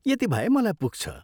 यति भए मलाई पुग्छ।